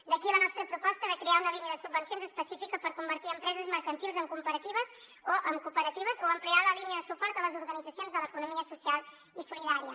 d’aquí la nostra proposta de crear una línia de subvencions específica per convertir empreses mercantils en cooperatives o ampliar la línia de suport a les organitzacions de l’economia social i solidària